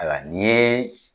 Ayiwa n yee